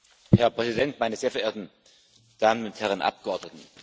Herr Präsident, meine sehr verehrten Damen und Herren Abgeordnete!